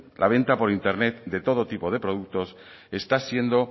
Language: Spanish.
la venta por internet de todo tipo de productos está siendo